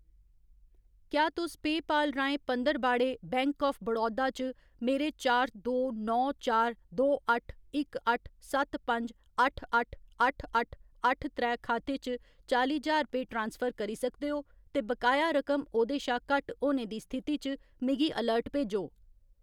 क्या तुस पेऽपाल राहें पंदरबाड़े बैंक आफ बड़ौदा च मेरे चार दो नौ चार दो अट्ठ इक अट्ठ सत्त पंज अट्ठ अट्ठ अट्ठ अट्ठ अट्ठ त्रै खाते च चाली ज्हार रपेऽ ट्रांसफर करी सकदे ओ ते बकाया रकम ओह्‌दे शा घट्ट होने दी स्थिति च मिगी अलर्ट भेजो?